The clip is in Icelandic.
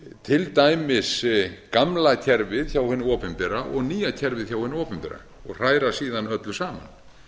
til dæmis gamla kerfið hjá hinu opinbera og nýja kerfið hjá hinu opinbera og hræra síðan öllu saman